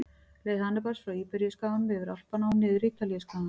Leið Hannibals frá Íberíuskaganum, yfir Alpana og niður Ítalíuskagann.